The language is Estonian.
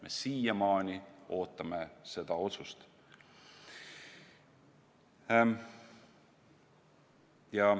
Me siiamaani ootame seda otsust.